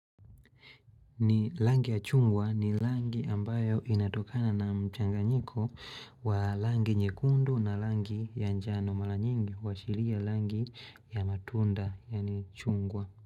Ni rangi ya chungwa ni rangi ambayo inatokana na mchanganyiko wa rangi nyekundu na rangi ya njano mara nyingi huashiria rangi ya matunda yani chungwa.